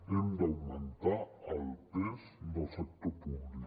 hem d’augmentar el pes del sector públic